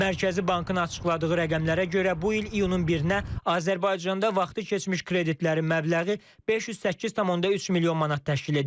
Mərkəzi Bankın açıqladığı rəqəmlərə görə, bu il iyunun 1-nə Azərbaycanda vaxtı keçmiş kreditlərin məbləği 508,3 milyon manat təşkil edib.